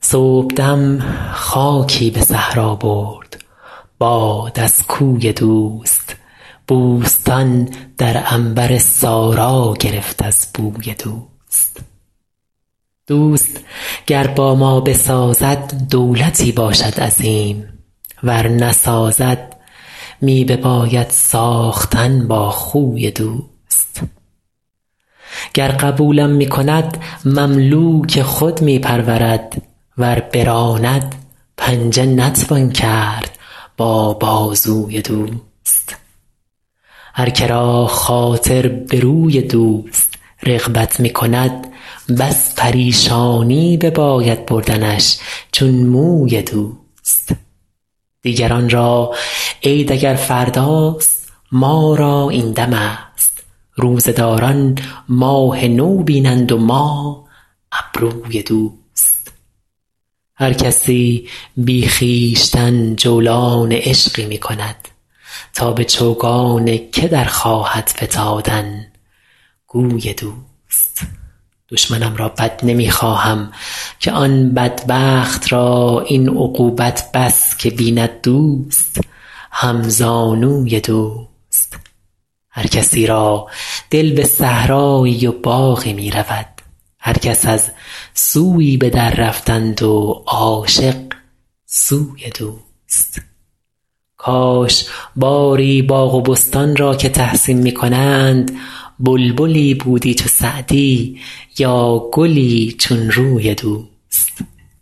صبحدم خاکی به صحرا برد باد از کوی دوست بوستان در عنبر سارا گرفت از بوی دوست دوست گر با ما بسازد دولتی باشد عظیم ور نسازد می بباید ساختن با خوی دوست گر قبولم می کند مملوک خود می پرورد ور براند پنجه نتوان کرد با بازوی دوست هر که را خاطر به روی دوست رغبت می کند بس پریشانی بباید بردنش چون موی دوست دیگران را عید اگر فرداست ما را این دمست روزه داران ماه نو بینند و ما ابروی دوست هر کسی بی خویشتن جولان عشقی می کند تا به چوگان که در خواهد فتادن گوی دوست دشمنم را بد نمی خواهم که آن بدبخت را این عقوبت بس که بیند دوست همزانوی دوست هر کسی را دل به صحرایی و باغی می رود هر کس از سویی به دررفتند و عاشق سوی دوست کاش باری باغ و بستان را که تحسین می کنند بلبلی بودی چو سعدی یا گلی چون روی دوست